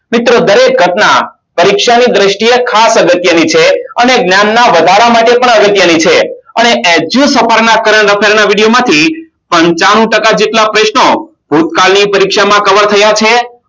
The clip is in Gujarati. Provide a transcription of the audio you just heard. મિત્રો દરેક ઘટના પરીક્ષાની દ્રષ્ટિએ ખાસ લખી છે અને જ્ઞાનના વધારા માટે પણ અલગ કરી છે અને પંચાણું જેટલા પ્રશ્નો ભૂતકાળની પરીક્ષામાં કવર થયા છે